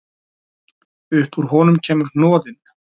Upp úr honum kemur hnoðinn.